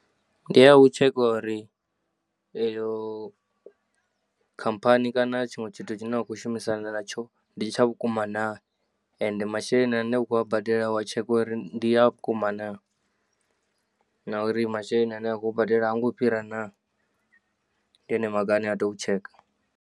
Ndiya u tsheka uri eyo khamphani kana tshiṅwe tshithu tshine wa kho shumisana natsho ndi tsha vhukuma naa ende masheleni ane wakho a badela wa tsheka uri ndi a vhukuma naa nauri masheleni ane wa khou badela hango fhira naa ndi yone maga ane wa tea u tsheka.